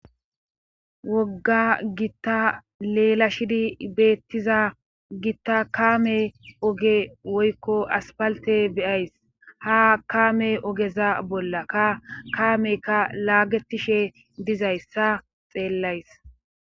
Wogga gitta leela shidi beettiza gitta kaame oge woykko aspalte beyays ha kaame ogeza bolla ka kaameykka laagetishe dizayssa xeellays.